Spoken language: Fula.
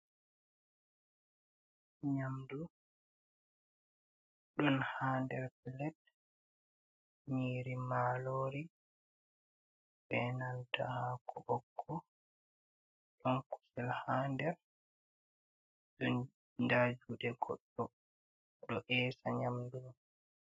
Nyamdu ɗon ha der plet. Nyiri malori, be nalta hako ɓokko. Ɗon kusel ha der, ɗon nda juuɗe goɗɗo, o ɗo esa nyamdu mai.